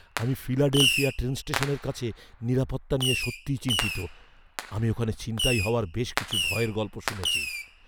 আমি Philadelphia train স্টেশনের কাছে নিরাপত্তা নিয়ে সত্যিই চিন্তিত; আমি ওখানে ছিনতাই হওয়ার বেশ কিছু ভয়ের গল্প শুনেছি।